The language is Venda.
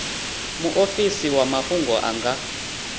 muofisi wa mafhungo a nga